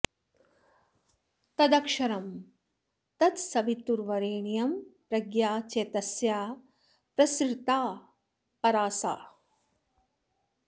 तदक्षरं तत्सवितुर्वरेण्यं प्रज्ञा च तस्याः प्रसृता परा सा